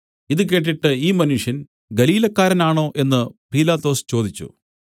ഇതു കേട്ടിട്ട് ഈ മനുഷ്യൻ ഗലീലക്കാരനാണോ എന്നു പീലാത്തോസ് ചോദിച്ചു